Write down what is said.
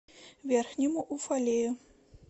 верхнему уфалею